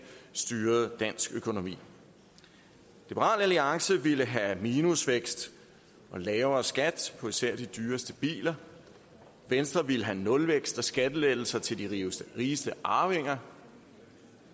styrede dansk økonomi liberal alliance ville have minusvækst og lavere skat på især de dyreste biler venstre ville have nulvækst og skattelettelser til de rigeste arvinger